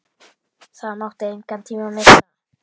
Það mátti engan tíma missa.